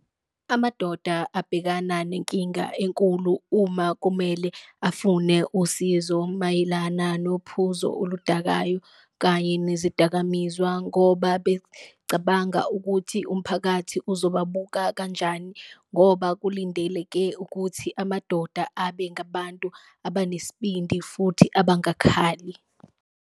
Amadoda abhekana nenkinga enkulu uma kumele afune usizo mayelana nophuzo oludakwayo kanye nezidakamizwa, ngoba becabanga ukuthi umphakathi uzobabuka kanjani. Ngoba kulindeleke ukuthi amadoda abe ngabantu abanesibindi futhi abangakhali.